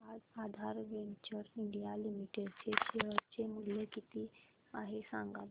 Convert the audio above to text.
आज Aadhaar Ventures India Limited चे share चे मूल्य किती आहे सांगा बरं